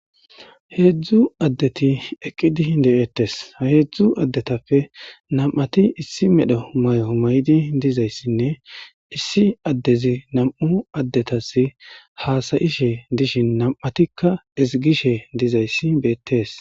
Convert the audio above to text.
Heedzdzu addethi eqqidi de7eeththes; ha heedzdzu addethappe nam7athi issi medho mayo mayidi dizayssinne issi addezi nam7u addethassi haasa7ishe dishin nam7athikka ezgishe dizayssi beeththees.